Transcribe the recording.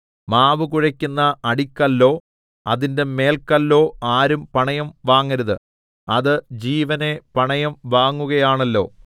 മാവ് കുഴയ്ക്കുന്ന അടിക്കല്ലോ അതിന്റെ മേൽക്കല്ലോ ആരും പണയം വാങ്ങരുത് അത് ജീവനെ പണയം വാങ്ങുകയാണല്ലോ